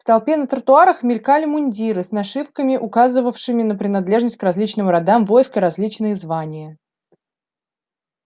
в толпе на тротуарах мелькали мундиры с нашивками указывавшими на принадлежность к различным родам войск и различные звания